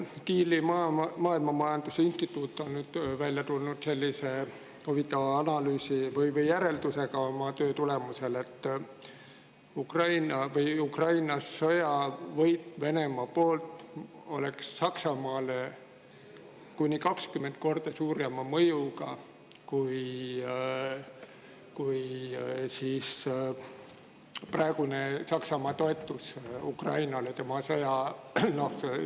Kieli maailmamajanduse instituut on välja tulnud sellise huvitava järeldusega oma töö tulemusel, et Venemaa võit Ukraina sõjas oleks Saksamaale kuni 20 korda suurema mõjuga kui Saksamaa praegune toetus Ukrainale selles sõjas.